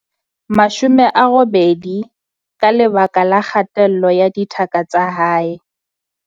18 ka lebaka la kgatello ya thaka tsa hae.